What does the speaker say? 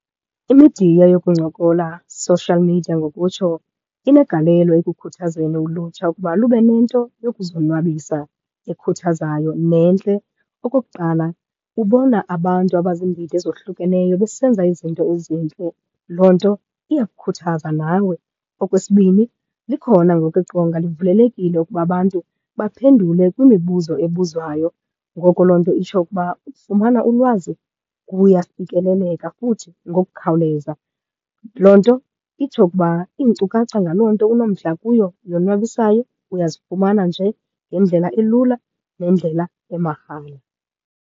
Imidiya yokuncokola, social media ngokutsho, inegalelo ekukhuthazeni ulutsha ukuba lube nento yokuzonwabisa ekhuthazayo nentle. Okokuqala, ubona abantu abaziindidi ezohlukeneyo besenza izinto ezintle. Loo nto iyakukhuthaza nawe. Okwesibini, likhona ngoku iqonga livulelekile ukuba abantu baphendule kwimibuzo ebuzwayo. Ngoko loo nto itsho ukuba ufumana ulwazi, kuyafikeleleka futhi ngokukhawuleza. Loo nto itsho ukuba iinkcukacha ngaloo nto unomdla kuyo yonwabisayo, uyazifumana nje ngendlela elula nendlela emahala.